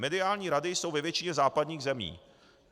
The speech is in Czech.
Mediální rady jsou ve většině západních zemí.